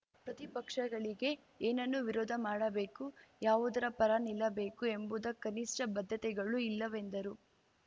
ಪ್ರತಿ ಪಕ್ಷಗಳಿಗೆ ಏನನ್ನು ವಿರೋಧ ಮಾಡಬೇಕು ಯಾವುದರ ಪರ ನಿಲ್ಲಬೇಕು ಎಂಬುದ ಕನಿಷ್ಠ ಬದ್ದತೆಗಳೂ ಇಲ್ಲವೆಂದರು